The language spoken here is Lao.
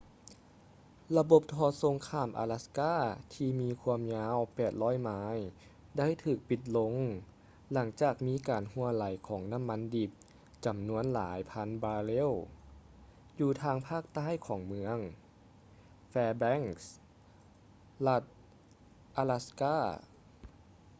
ລະບົບທໍ່ສົ່ງຂ້າມອາລັດສ໌ກ່າ ທີ່ມີຄວາມຍາວ 800 ໄມ ໄດ້ຖືກປິດລົງຫຼັງຈາກມີການຮົ່ວໄຫຼຂອງນ້ຳມັນດິບຈຳນວນຫຼາຍພັນບາເຣວ ຢູ່ທາງພາກໃຕ້ຂອງເມືອງ fairbanks ລັດອາລັດສ໌ກ່າ alaska